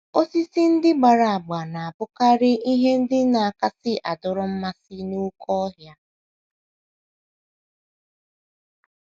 Osisi ndị gbara agba na - abụkarị ihe ndị kasị adọrọ mmasị n’oké ọhịa.